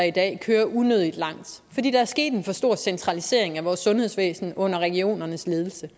i dag kører unødigt langt fordi der er sket en for stor centralisering af vores sundhedsvæsen under regionernes ledelse